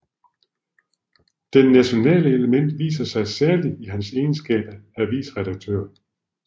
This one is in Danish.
Det nationale element viser sig særlig i hans egenskab af avisredaktør